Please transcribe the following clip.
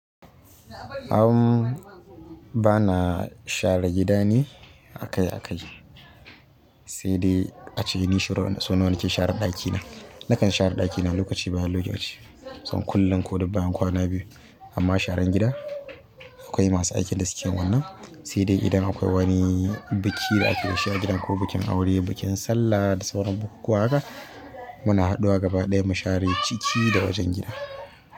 Amm, bana share gida ni akai akai, saidai ace ni yaushe rabon sau nawa nake share ɗakina? Nakan share ɗakina lokaci bayan lokaci, kusan kullum ko duk bayan kwana biyu. Amma sharan gida akwai masu aikin da suke wannan, sai dai idan akwai wani biki da ake gashi a gidan, ko bikin aure, bikin sallah da sauran bukukuwa haka, muna haɗuwa gaba ɗaya mu share ciki da wajen gida.